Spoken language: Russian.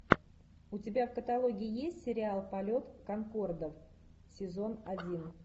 у тебя в каталоге есть сериал полет конкордов сезон один